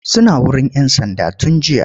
Suna wurin 'yan sands tun jiya.